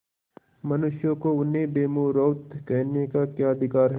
मनुष्यों को उन्हें बेमुरौवत कहने का क्या अधिकार है